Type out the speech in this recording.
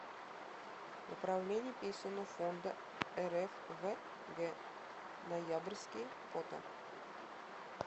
управление пенсионного фонда рф в г ноябрьске фото